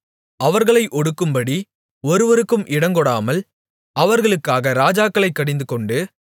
அவர்களை ஒடுக்கும்படி ஒருவருக்கும் இடங்கொடாமல் அவர்களுக்காக ராஜாக்களைக் கடிந்துகொண்டு